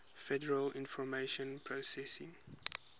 federal information processing